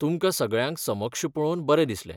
तुमकां सगळ्यांक समक्ष पळोवन बरें दिसलें.